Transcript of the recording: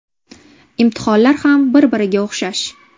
Imtihonlar ham bir-biriga o‘xshash.